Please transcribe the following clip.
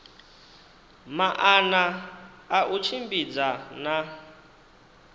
maana a u tshimbidza na